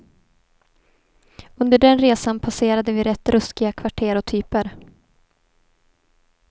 Under den resan passerade vi rätt ruskiga kvarter och typer.